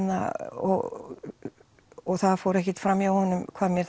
og það fór ekkert fram hjá honum hvað mér